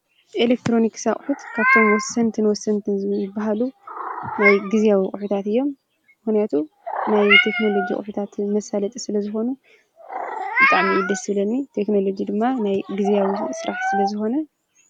ኤሌክትሮንክስ ኣቕሑት ካብቶም ወስንቲን ወስንትን ዝበሃሉ ናይ ጊዜያዊ ቝሒታት እዮም። ምኅንያቱ ናይ ተክንሎጊ ቝሒታት መሣለጥ ስለ ዝኾኑ እጣም ይደ ሥለኒ ተክኖሎጅ ድማ ናይ ጊዜያዊ ሥራሕ ስለ ዝኮነ እዩ።